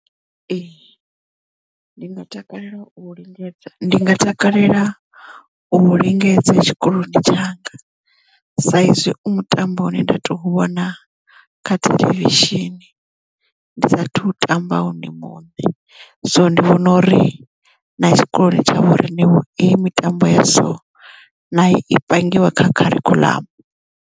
Ee ndi nga takalela u lingedza ndi nga takalela u lingedza tshikoloni tshanga sa izwi u mutambo une nda tou vhona kha theḽevishini ndi sathu u tamba nṋe muṋe so ndi vhona uri na tshikoloni tshanga uri na heyi mitambo ya so nayo i pangiwe kha kharikhuḽamu.